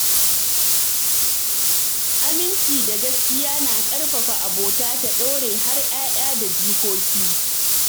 Aminci da gaskiya na ƙarfafa abota ta ɗore har 'ya'ya da jikoki